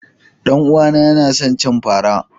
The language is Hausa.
Danuwa na Yana son cin fara.